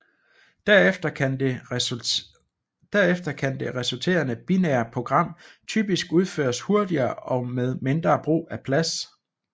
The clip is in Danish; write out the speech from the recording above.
Derefter kan det resulterende binære program typisk udføres hurtigere og med mindre brug af plads